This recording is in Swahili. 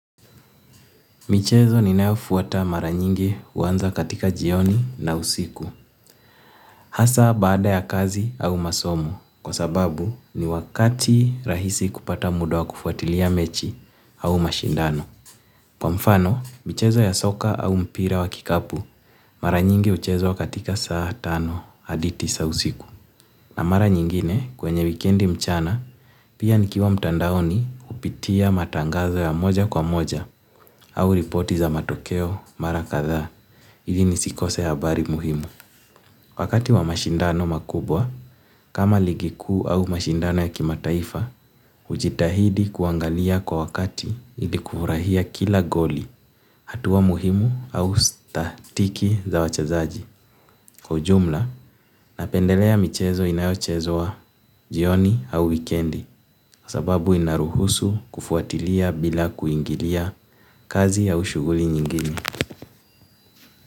Michezo ninayoifuata mara nyingi huanza katika jioni na usiku. Hasa baada ya kazi au masomo kwa sababu ni wakati rahisi wa kupata muda wa kufuatilia mechi au mashindano. Kwa mfano, michezo ya soka au mpira wa kikapu mara nyingi huchezwa katika saa tano aditi sa usiku. Na mara nyingine kwenye wikendi mchana pia nikiwa mtandaoni kupitia matangazo ya moja kwa moja au ripoti za matokeo mara kadhaa. Ili nisikose habari muhimu. Wakati wa mashindano kama ligi kuu au mashindano ya kimataifa hujitahidi kuangalia kwa wakati ili kufurahia kila goli hatua muhimu au statiki za wachezaji. Kwa ujumla, napendelea michezo inayochezwa jioni au wikendi. Sababu inaruhusu kufuatilia bila kuingilia kazi au shughuli nyingine.